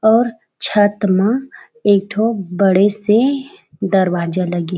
और छत म एक ठो बड़े- से दरवाजा लगे हे।